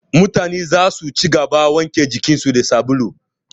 Mutane zasu ci gaba da wanke jikin su da sabulu